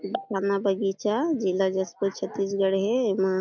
थाना बगीचा जिला जशपुर छत्तीसगढ़ हे एमा --